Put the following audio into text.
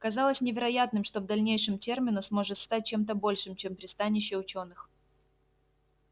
казалось невероятным что в дальнейшем терминус может стать чем-то большим чем пристанище учёных